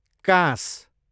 काँस